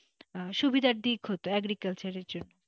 সুবিধার দিক হত agriculture জন্য,